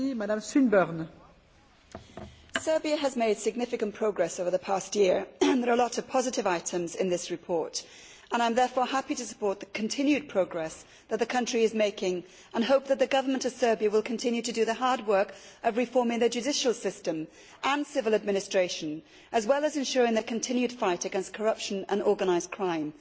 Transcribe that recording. Madam President, Serbia has made significant progress over the past year. There are a lot of positive items in this report and I am therefore happy to support the continued progress that the country is making and hope that the Government of Serbia will continue to do the hard work of reforming the judicial system and civil administration, as well as ensuring the continued fight against corruption and organised crime.